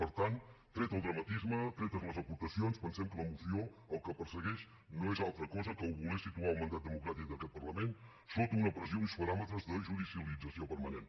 per tant tret el dramatisme tretes les aportacions pensem que la moció el que persegueix no és altra cosa que voler situar el mandat democràtic d’aquest parlament sota una pressió i uns paràmetres de judicialització permanent